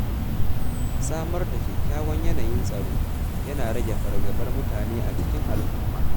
Samar da kyakkyawan yanayin tsaro yana rage fargabar mutane a cikin al’umma.